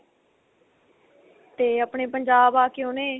ਤੇ ਆਪਣੇ ਪੰਜਾਬ ਆ ਕੇ ਉਹਨੇ